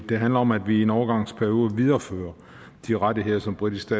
det handler om at vi i en overgangsperiode viderefører de rettigheder som britiske